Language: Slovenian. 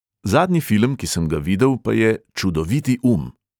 Zadnji film, ki sem ga videl, pa je čudoviti um.